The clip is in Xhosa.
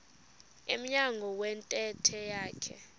emnyango wentente yakhe